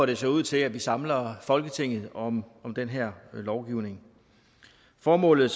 det ser ud til at vi samler folketinget om den her lovgivning formålet